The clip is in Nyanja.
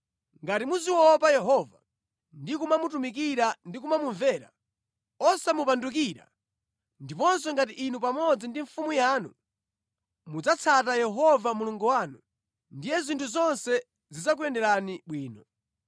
Ngati muziopa Yehova ndi kumamutumikira ndi kumamumvera, osamupandukira ndiponso ngati inu pamodzi ndi mfumu yanu mudzatsata Yehova Mulungu wanu, ndiye zinthu zonse zidzakuyenderani bwino.